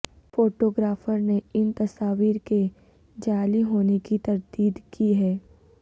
photographer نے ان تصاویر کے جعلی ہونے کی تردید کی ہے